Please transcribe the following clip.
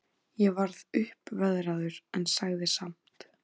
Ég varð uppveðraður, en sagði samt